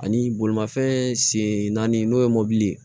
Ani bolimafɛn sen naani n'o ye mobili ye